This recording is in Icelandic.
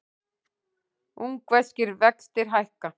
Ungverskir vextir hækka